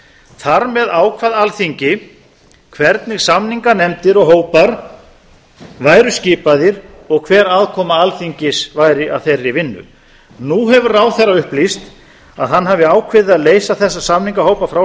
þar með ákvað alþingi hvernig samninganefndir og hópar væru skipaðir og hver aðkoma alþingis væri að þeirri vinnu nú hefur ráðherra upplýst að hann hafi ákveðið að leysa þessa samningahópa frá